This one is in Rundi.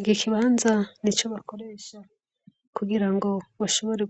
Iki kibanza nico bakoresha kugira ngo bashobore